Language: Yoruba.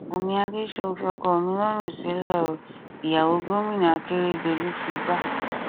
bùnmi adẹsùn fi ọkọ mi lọrùn sílẹ o ìyàwó gómìnà akérèdọlù figbá